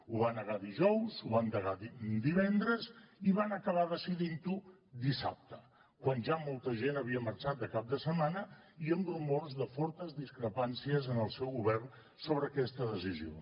ho va negar dijous ho van negar divendres i van acabar decidint ho dissabte quan ja molta gent havia marxat de cap de setmana i amb rumors de fortes discrepàncies en el seu govern sobre aquesta decisió